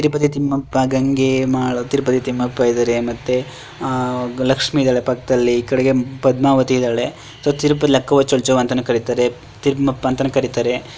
ತಿರುಪತಿ ತಿಮ್ಮಪ್ಪ ಗಂಗೆ ಮಾ ತಿರುಪತಿ ತಿಮ್ಮಪ್ಪ ಇದ್ದಾರೆ ಮತ್ತೆ ಅಹ್ ಲಕ್ಷ್ಮಿ ಇದ್ದಾಳೆ ಪಕ್ಕದಲ್ಲಿ ಈಕಡೆ ಪದ್ಮಾವತಿ ಇದ್ದಾಳೆ ಸೊ ತಿರುಪತಿ ಲಕ್ಕವ್ವ ಚೌಚೌ ಅಂತಾನೂ ಕರೀತಾರೆ ತಿಮಪ್ಪ ಅನಾತನು ಕರೀತಾರೆ.